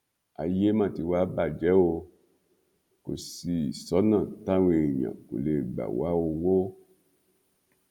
ayé má ti wàá bàjẹ o kò sì sọnà táwọn èèyàn kò lè gbà wá owó